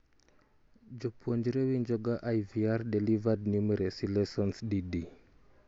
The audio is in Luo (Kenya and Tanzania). jopuonre winjoga IVR-delivered numeracy lessons di di?